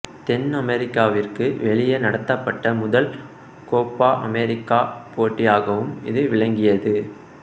தென் அமெரிக்காவிற்கு வெளியே நடத்தப்பட்ட முதல் கோப்பா அமெரிக்கா போட்டியாகவும் இது விளங்கியது